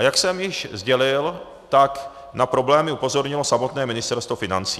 A jak jsem již sdělil, tak na problémy upozornilo samotné Ministerstvo financí.